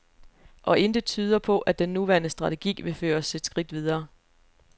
Og intet tyder på, at den nuværende strategi vil føre os et skridt videre.